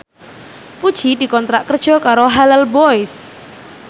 Puji dikontrak kerja karo Halal Boys